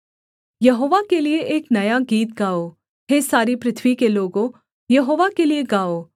यहोवा के लिये एक नया गीत गाओ हे सारी पृथ्वी के लोगों यहोवा के लिये गाओ